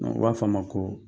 U b'a fɔ a ma ko